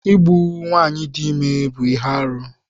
Igbu nwaanyị dị ime bụ ihe arụ.